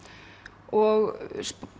og